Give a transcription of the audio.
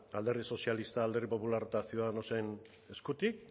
alderdi sozialista alderdi popularra eta ciudadanosen eskutik